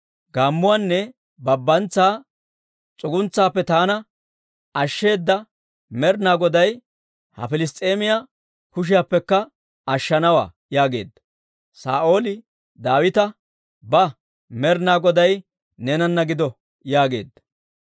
Gaammuwaanne babbantsa s'uguntsaappe taana ashsheeda Med'inaa Goday ha Piliss's'eemiyaa kushiyaappekka ashshanawaa» yaageedda. Saa'ooli Daawita, «Ba; Med'inaa Goday neenana gido» yaageedda.